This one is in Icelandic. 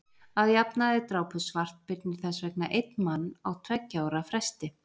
að jafnaði drápu svartbirnir þess vegna einn mann á tveggja ára fresti